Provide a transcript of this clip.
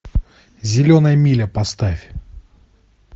зеленая миля поставь